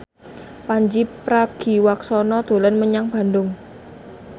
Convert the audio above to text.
Pandji Pragiwaksono dolan menyang Bandung